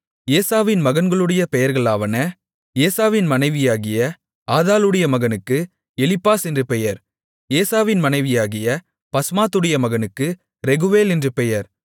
ஏசாவின் மகன்களுடைய பெயர்களாவன ஏசாவின் மனைவியாகிய ஆதாளுடைய மகனுக்கு எலிப்பாஸ் என்று பெயர் ஏசாவின் மனைவியாகிய பஸ்மாத்துடைய மகனுக்கு ரெகுவேல் என்று பெயர்